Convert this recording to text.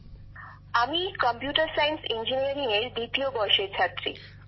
বিশাখাজীঃ আমি computer science ইঞ্জিনিয়ারিংএর দ্বিতীয় বর্ষের ছাত্রী